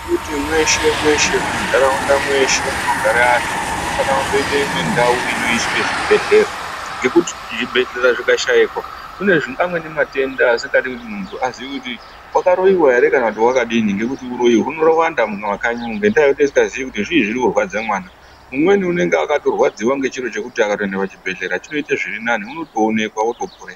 Tirikuti mweshe mweshe muntaraunda mweshoe munogare antu munofana kundoite imwe ndau inosise zvibhedhlera ngekuti zvibhedhlera zvikashaikwa kune amweni matenda asingadi muntu kuti aziye kuti wakaroiwa ere kana kuti wakadini ngekuti uroyi hunowanda mumakanyi umo ngenyaya yekuti tinenge tisingaziii kuti zviii zvirikurwadza mwana ,umweni unenge akatorwadziwa ngechiro chekuti akatoende pachibhedhlera chinoite zvirinani unotoonekwa